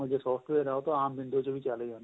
software ਆਂ ਉਹ ਤਾਂ ਆਂਮ window ਚ ਵੀ ਚੱਲ ਜਾਂਦੇ ਏ